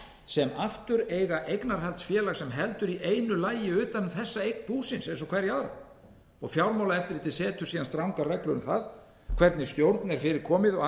sem aftur eiga eignarhaldsfélag sem heldur í einu lagi utan um þessa eign búsins eins og hverja aðra fjármálaeftirlitið setur síðan strangar reglur um það hvernig stjórn er fyrir komið og